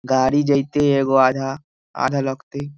गाड़ी जइ तई एगो आधा आधा लउकतई ।